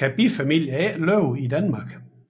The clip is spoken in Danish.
kan bifamilier ikke overleve i Danmark